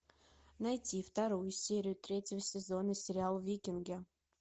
найти вторую серию третьего сезона сериал викинги